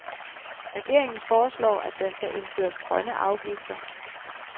Regeringen foreslår, at der skal indføres grønne afgifter.